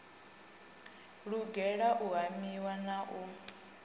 lugela u hamiwa na u